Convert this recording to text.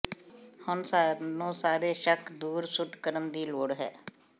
ਹੁਣ ਸਾਨੂੰ ਸਾਰੇ ਸ਼ੱਕ ਦੂਰ ਸੁੱਟ ਕਰਨ ਦੀ ਲੋੜ ਹੈ